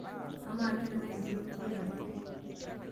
Amaa, kenengae entito niboitare?